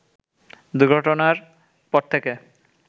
দুর্ঘটনার পর থেকে